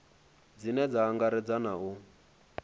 dzine dza angaredza na u